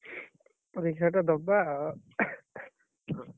ପରୀକ୍ଷାଟା ଦବା ଆଉ।